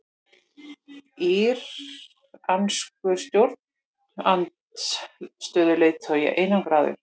Íranskur stjórnarandstöðuleiðtogi einangraður